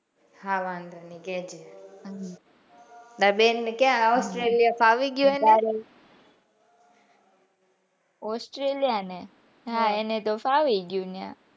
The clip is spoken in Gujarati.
હા વાંધો નાઈ ટાર બેન ને australia ફાવી ગયું એને હા australia એને હા એને તો ફાવી ગયું ત્યાં,